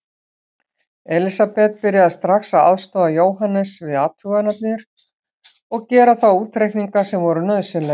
Elisabeth byrjaði strax að aðstoða Jóhannes við athuganirnar og gera þá útreikninga sem voru nauðsynlegir.